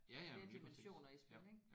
Have flere dimensioner i spil ik